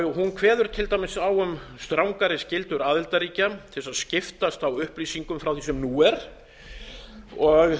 hún kveður til dæmis á um strangari skyldur aðildarríkja til að skiptast á upplýsingum frá því sem nú er sérstaklega er